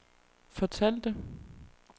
fortalte